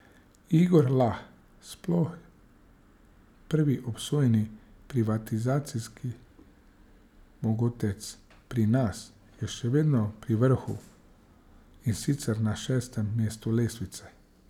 Igor Lah, sploh prvi obsojeni privatizacijski mogotec pri nas, je še vedno pri vrhu, in sicer na šestem mestu lestvice.